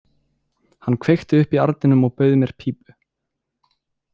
Hún kveikti upp í arninum og bauð mér pípu.